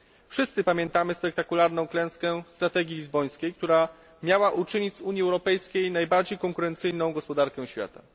Wszyscy pamiętamy spektakularną klęskę strategii lizbońskiej, która miała uczynić z Unii Europejskiej najbardziej konkurencyjną gospodarkę świata.